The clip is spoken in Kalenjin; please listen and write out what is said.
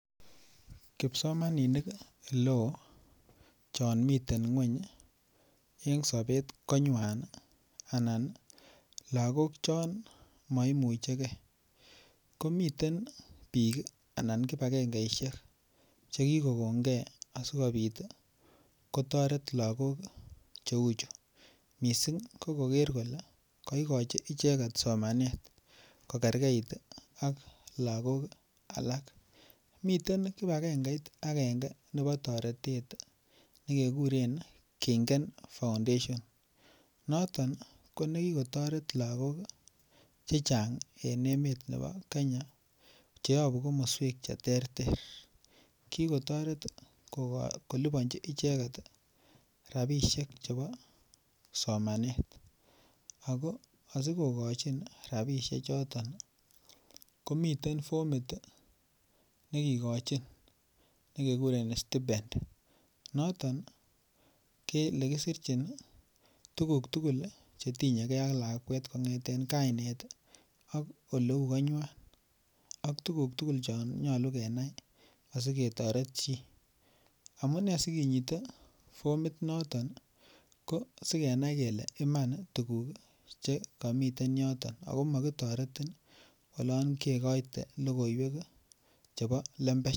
Kipsomaninik oleo chon miten ngwony en sobet konywan anan lagok chon maimuche ge ko miten bik Anan kibagengesiek Che kigon ge asikobit kotoret lagok Che uchu mising ko koger kole kaigochi icheget somanet kogergeit ak lagok alak miten kibagengeit agenge nebo toretet ne kekuren kengen foundation noton ko nekikotoret lagok Che Chang en emet nebo Kenya Che yobu komoswek Che terter ki kotoret kolipanchi icheget rabisiek chebo somanet ago asi kogochin rabisiek choton komiten formit ne kigochin nekekuren stipend noton keserchin tuguk tugul Che tinye ge ak lakwet kongeten kainet ak oleu konywan ak tuguk tugul chon nyolu keyai asi ketoret chi amune sikinyite formit noton ko Asi kenai Iman tuguk tugul Che miten yoton ago mokitoretin oloon kegoite logoiwek chebo lembech